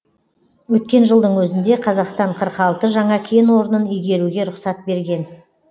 өткен жылдың өзінде қазақстан қырық алты жаңа кен орнын игеруге рұқсат берген